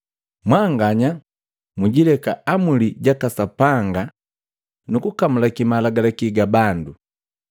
“Mwanganya mwijileka Amuli jaka Sapanga nuku kamulaki malagalaki ga bandu.”